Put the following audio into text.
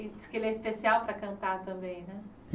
E diz que ele é especial para cantar também, né?